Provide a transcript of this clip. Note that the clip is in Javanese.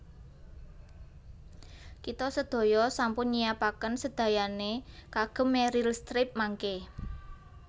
Kita sedaya sampun nyiapaken sedayane kagem Meryl Streep mangke